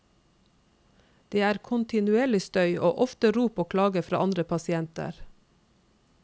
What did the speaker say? Det er kontinuerlig støy, og ofte rop og klager fra andre pasienter.